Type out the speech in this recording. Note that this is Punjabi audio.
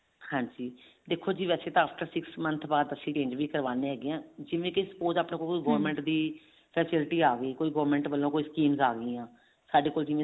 ਹਾਂਜੀ ਦੇਖੋ ਜੀ after six month ਬਾਅਦ ਅਸੀਂ change ਵੀ ਕਰਵਾਉਂਦੇ ਹੈਗੇ ਆਂ ਜਿਵੇਂ ਕੀ suppose ਆਪਣੇ ਕੋਲ ਕੋਈ government